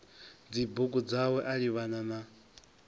dzibugu dzawe a livhana na